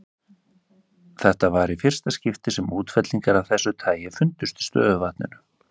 Þetta var í fyrsta skipti sem útfellingar af þessu tagi fundust í stöðuvatni.